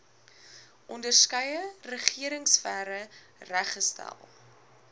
onderskeie regeringsfere reggestel